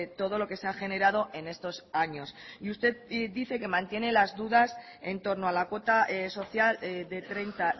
todo lo que se ha generado en estos años y usted dice que mantiene las dudas en torno a la cuota social de treinta